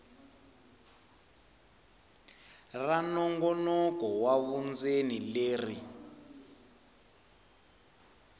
ra nongonoko wa vundzeni leri